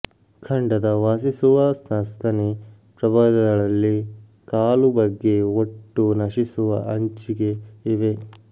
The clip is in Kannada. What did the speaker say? ಖಂಡದ ವಾಸಿಸುವ ಸಸ್ತನಿ ಪ್ರಭೇದಗಳಲ್ಲಿ ಕಾಲು ಬಗ್ಗೆ ಒಟ್ಟು ನಶಿಸುವ ಅಂಚಿಗೆ ಇವೆ